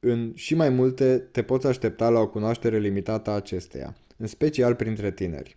în și mai multe te poți aștepta la o cunoaștere limitată a acesteia în special printre tineri